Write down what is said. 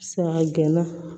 Saga gɛnna